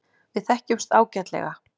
Við þekkjumst ágætlega.